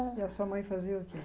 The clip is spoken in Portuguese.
E a sua mãe fazia o quê?